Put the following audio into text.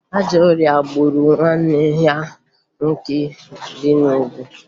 Ajọ ọrịa gburu nwanne ya nwoke bi n'Ugwu